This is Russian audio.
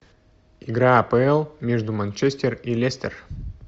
игра апл между манчестер и лестер